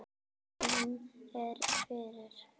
Hann er fyrir.